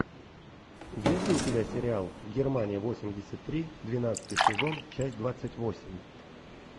есть ли у тебя сериал германия восемьдесят три двенадцатый сезон часть двадцать восемь